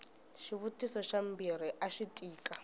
xivutiso xa mbirhi axi tika